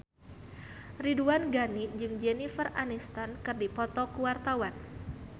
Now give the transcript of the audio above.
Ridwan Ghani jeung Jennifer Aniston keur dipoto ku wartawan